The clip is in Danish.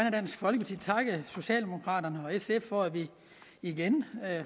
af dansk folkeparti takke socialdemokraterne og sf for at vi igen